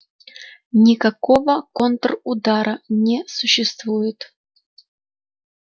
никакого контрудара не существует